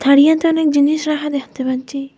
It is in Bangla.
তারিয়াতে অনেক জিনিস রাহা দ্যাখতে পাচচি ।